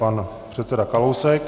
Pan předseda Kalousek.